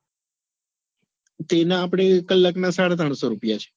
તેના આપડે કલાક ના સાડા ત્રણસો રૂપિયા છે.